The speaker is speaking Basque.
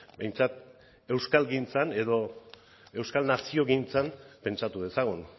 behintzat euskalgintzan edo euskal naziogintzan pentsatu dezagun